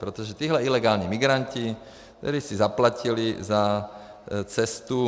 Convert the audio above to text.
Protože tihle ilegální migranti, kteří si zaplatili za cestu -